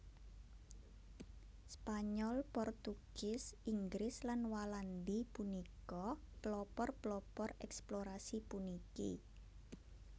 Spanyol Portugis Inggris lan Walandi punika pelopor pelopor eksplorasi puniki